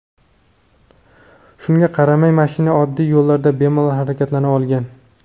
Shunga qaramay, mashina oddiy yo‘llarda bemalol harakatlana olgan.